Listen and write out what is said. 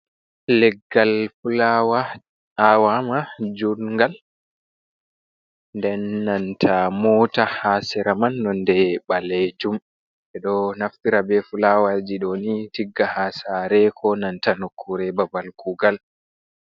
Leggal fulawa a'wama jungal den nanta mota ha sera man nonde balejum, ɓe ɗo naftira be fulawa'ji ɗoni tigga ha sa're, ko nanta nokkure babal kugal.